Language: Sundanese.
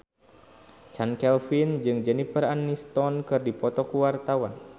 Chand Kelvin jeung Jennifer Aniston keur dipoto ku wartawan